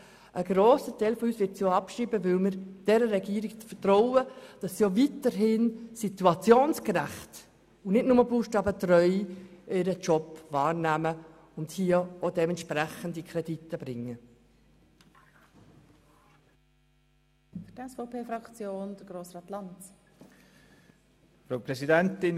Ein grosser Teil von uns wird sie auch abschreiben, weil wir dieser Regierung vertrauen, dass sie ihren Job auch weiterhin situationsgerecht und nicht nur buchstabentreu wahrnimmt und auch dementsprechende Kredite in den Grossen Rat bringt.